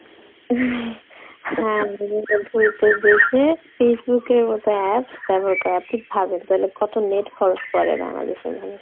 হ্যাঁ দেশে Facebook এর মতো app ব্যবহার করে আপনি ভাবেন কত net খরচ করে বাংলাদেশের মানুষরা